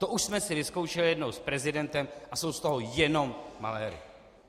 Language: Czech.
To už jsme si vyzkoušeli jednou s prezidentem a jsou z toho jenom maléry.